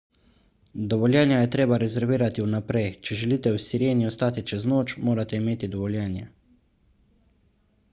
dovoljenja je treba rezervirati vnaprej če želite v sireni ostati čez noč morate imeti dovoljenje